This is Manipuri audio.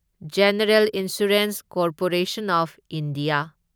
general insurance corporation of India